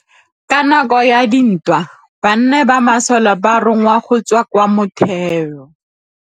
Ka nakô ya dintwa banna ba masole ba rongwa go tswa kwa mothêô.